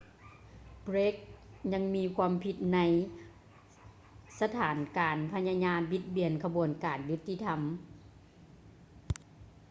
ເບຼກ blake ຍັງມີຄວາມຜິດໃນສະຖານການພະຍາຍາມບິດເບືອນຂະບວນການຍຸດຕິທຳ